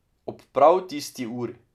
Ob prav tisti uri.